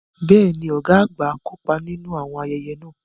Bẹ́ẹ̀ ni, ọ̀gá àgbà náà kópa nínú àwọn ayẹyẹ náà